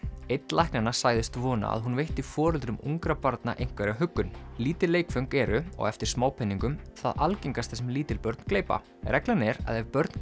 einn læknanna sagðist vona að hún veitti foreldrum ungra barna einhverja huggun lítil leikföng eru á eftir smápeningum það algengasta sem lítil börn gleypa reglan er að ef börn